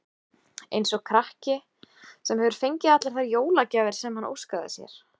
Eins og krakki, sem hefur fengið allar þær jólagjafir sem hann óskaði sér.